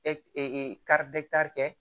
kɛ